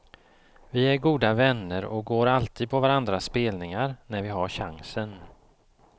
Vi är goda vänner och går alltid på varandras spelningar när vi har chansen.